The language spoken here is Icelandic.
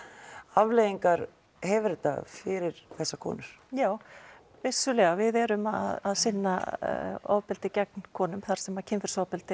afleiðingar hefur þetta fyrir þessar konur jú vissulega við erum að sinna ofbeldi gegn konum þar sem kynferðisofbeldi